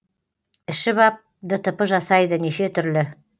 ішіп ап дтп жасайды неше түрлі